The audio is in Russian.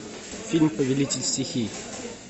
фильм повелитель стихий